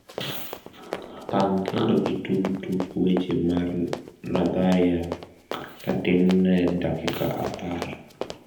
pang kendo itugi tuk weche mar nadharia tatin ne dakika apar